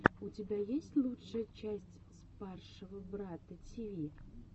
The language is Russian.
у тебя есть лучшая часть спаршего брата тиви